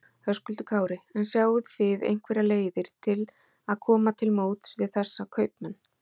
Höskuldur Kári: En sjáið þið einhverjar leiðir til að koma til móts við þessa kaupmenn?